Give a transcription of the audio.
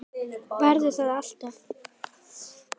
Verða það alltaf.